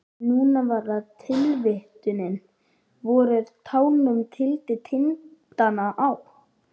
Núna var það tilvitnunin: Vorið tánum tyllir tindana á.